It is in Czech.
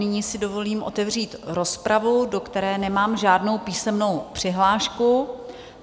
Nyní si dovolím otevřít rozpravu, do které nemám žádnou písemnou přihlášku.